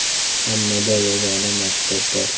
Hammada yagona maqsad bor.